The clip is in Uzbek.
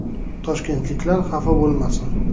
“Toshkentliklar xafa bo‘lmasin.